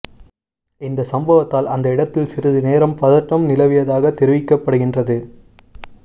இந்தச் சம்பவத்தால் அந்த இடத்தில் சிறிது நேரம் பதட்டம் நிலவியதாகத் தெரிவிக்கப்படுகின்றது